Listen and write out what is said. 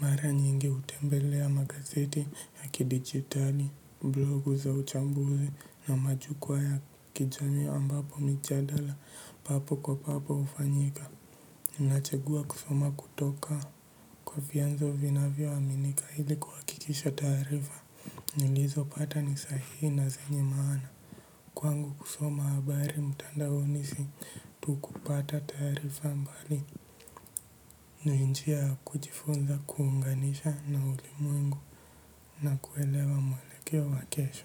Mara nyingi hutembelea magazeti, ya kidigitali, blogu za uchambuzi na majukwaa ya kijamii ambapo mijadala, papo kwa papo hufanyika. Nachagua kusoma kutoka. Kwa vianzo vinavyo aminika, ili kuhakikisha taarifa. Nilizo pata ni sahii, na zenye maana. Kwangu kusoma habari mtandaoni si, tu kupata taarifa bali. Ni njia ya kujifunza kuunganisha na ulimwengu. Na kuelewa mwelekeo wa kesho.